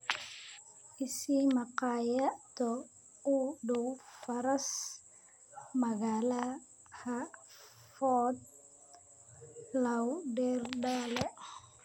i sii maqaayado u dhow faras-magaalaha Fort Lauderdale